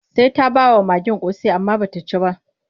Sai ta ba wa magen ƙosai amma ba ta ci ba.